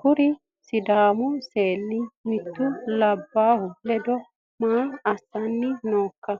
kuri sidaamu seenni mittu labbaahu ledo maa aasnni nooika